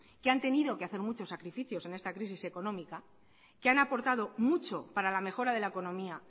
que han tenido que hacer muchos sacrificios en esta crisis económica que han aportado mucho para la mejora de la economía